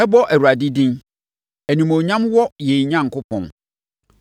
Mɛbɔ Awurade din; Animuonyam wɔ yɛn Onyankopɔn.